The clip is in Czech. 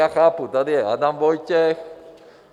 Já chápu, tady je Adam Vojtěch...